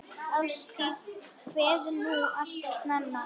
Ástdís kveður núna alltof snemma.